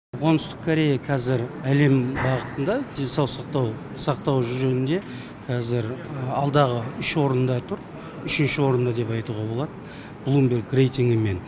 оңтүстік корея кәзір әлем бағытында денсаулық сақтау сақтау жөнінде кәзір алдағы үш орында тұр үшінші орында деп айтуға болады блумберг рейтингімен